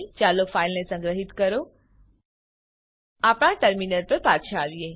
ચાલો ફાઈલને સંગ્રહિત કરો આપણા ટર્મિનલ પર પાછા આવીએ